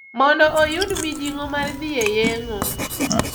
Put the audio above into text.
Mondo oyud mijing`o mar dhi e yeng`o.